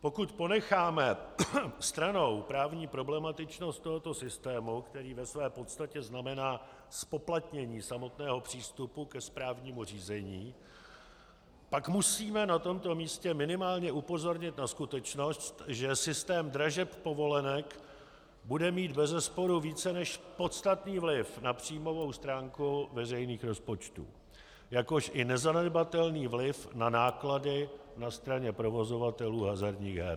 Pokud ponecháme stranou právní problematičnost tohoto systému, který ve své podstatě znamená zpoplatnění samotného přístupu ke správnímu řízení, pak musíme na tomto místě minimálně upozornit na skutečnost, že systém dražeb povolenek bude mít bezesporu více než podstatný vliv na příjmovou stránku veřejných rozpočtů, jakož i nezanedbatelný vliv na náklady na straně provozovatelů hazardních her.